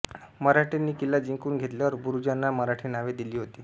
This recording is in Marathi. मराठ्यांनी किल्ला जिंकून घेतल्यावर बुरुजांना मराठी नावे दिली होती